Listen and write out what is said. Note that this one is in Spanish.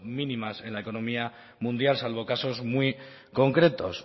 mínimas en la economía mundial salvo casos muy concretos